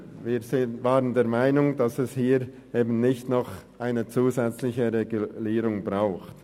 Wir waren der Meinung, dass es hier eben nicht noch eine zusätzliche Regulierung braucht.